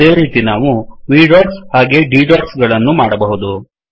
ಅದೇ ರೀತಿ ನಾವು V dotsಡೊಟ್ಸ್ ಹಾಗೇ D dotsಡೊಟ್ಸ್ ಗಳನ್ನೂ ಮಾಡಬಹುದು